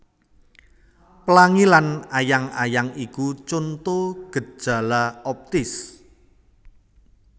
Plangi lan ayang ayang iku conto gejala optis